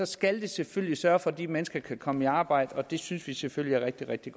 skal vi selvfølgelig sørge for at de mennesker kan komme i arbejde og det synes vi selvfølgelig er rigtig rigtig